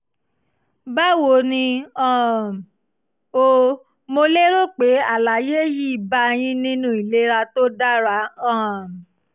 báwo ni um o? mo lérò pé àlàyé yìí á bá a yín nínú ìlera tó dára um